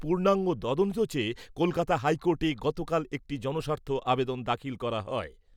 পূর্ণাঙ্গ তদন্ত চেয়ে কলকাতা হাইকোর্টে গতকাল একটি জনস্বার্থ আবেদন দাখিল করা হয়।